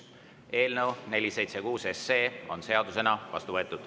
Eelnõu 476 on seadusena vastu võetud.